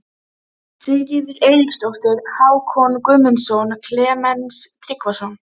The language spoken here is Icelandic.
Sigríður Eiríksdóttir, Hákon Guðmundsson, Klemens Tryggvason